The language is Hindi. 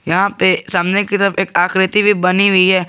यहां पे सामने की तरफ एक आकृति भी बनी हुई है।